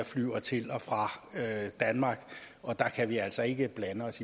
flyver til og fra danmark og der kan vi altså ikke blande os